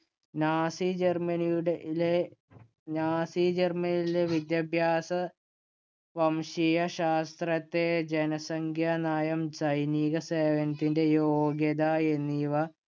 Nazi ജര്‍മ്മനിയുടെ ഇലെ Nazi ജർമ്മനിയിലെ വിദ്യാഭ്യാസ വംശീയ ശാസ്ത്രത്തെ ജനസംഖ്യാ നയം, സൈനിക സേവനത്തിന്‍റെ യോഗ്യത എന്നിവ